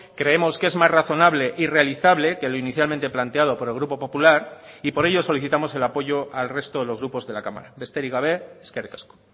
creemos que es más razonable y realizable que lo inicialmente planteado por el grupo popular y por ello solicitamos el apoyo al resto de los grupos de la cámara besterik gabe eskerrik asko